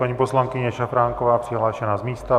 Paní poslankyně Šafránková, přihlášená z místa.